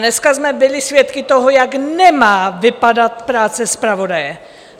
Dneska jsme byli svědky toho, jak nemá vypadat práce zpravodaje.